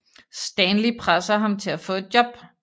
Stanley presser ham til at få et job